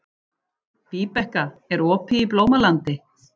Víbekka, er opið í Blómalandi?